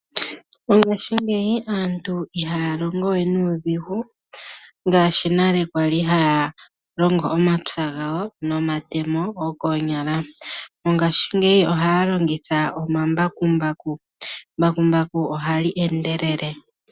Mongashingeyi aantu ihaya longo we niidhigu ngaashi nale kwali haya longo omapya gawo nomatemo gokoonyala. Mongaashingeyi ohaya longitha omambakumbaku, embakumbaku oha li endelele